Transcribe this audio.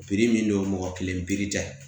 min don mɔgɔ kelen pirija